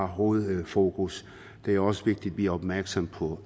hovedfokus det er også vigtigt at vi er opmærksomme på